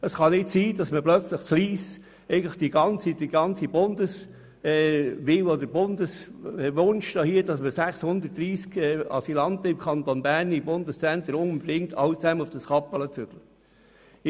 Es kann nicht sein, dass man alle Wünsche des Bundes hier erfüllt und alle 630 Asylanten im Bundeszentrum in Kappelen unterbringt.